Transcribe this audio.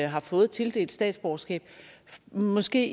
har fået tildelt statsborgerskab i en måske